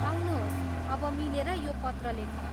आउनुहोस्, अब मिलेर यो पत्र लेखौँ ।